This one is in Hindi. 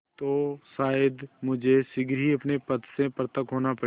तो शायद मुझे शीघ्र ही अपने पद से पृथक होना पड़े